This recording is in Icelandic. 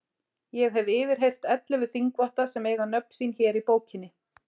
Ég hef yfirheyrt ellefu þingvotta sem eiga nöfn sín hér í bókinni.